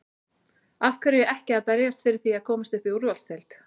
Af hverju ekki að berjast fyrir því að komast upp í úrvalsdeild?